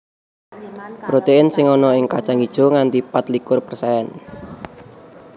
Protein sing ana ing kacang ijo nganti pat likur persen